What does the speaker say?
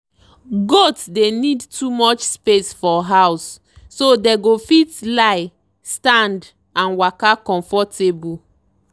goats dey need too much space for house so dey go fit lie stand and waka comfortable.